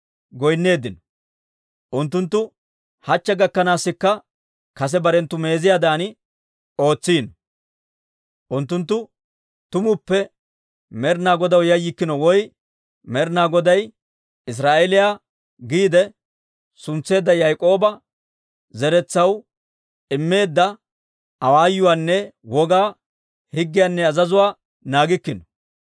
Unttunttu hachche gakkanaasikka kase barenttu meeziyaadan ootsiino. Unttunttu tumuppe Med'ina Godaw yayyikkino woy Med'ina Goday Israa'eeliyaa giide suntseedda Yaak'ooba zeretsaw immeedda awaayuwaanne wogaa, higgiyaanne azazuwaa naagikkino.